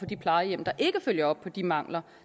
de plejehjem der ikke følger op på de mangler